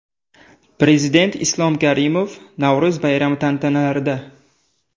Prezident Islom Karimov Navro‘z bayrami tantanalarida.